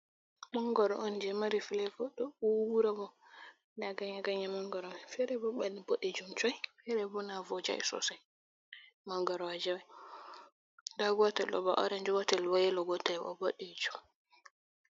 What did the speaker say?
Mangaro on je mari filevo. Ɗo uwura bo. Ɗa ganye ganye ganye mangoro mai. Fere bo baɗdu boɗejum coi. fere bo na vojai sosai. Mangaroje on. Ɗa gotel ɗo bo oranj. Gotel bo yelo. Gotel bo boɗejum.